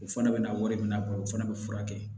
O fana bɛna wari minɛ a kɔrɔ o fana bɛ furakɛ